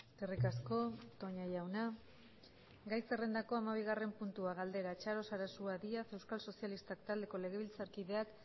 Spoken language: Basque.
eskerrik asko toña jauna gai zerrendako hamabigarren puntua galdera txaro sarasua díaz euskal sozialistak taldeko legebiltzarkideak